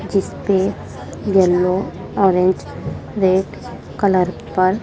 जिस पे yellow orange red colour पर--